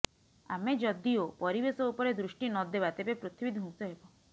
ଆମେ ଯଦିଓ ପରିବେଶ ଉପରେ ଦୃଷ୍ଟି ନଦେବା ତେବେ ପୃଥିବୀ ଧ୍ବଂସ ହେବ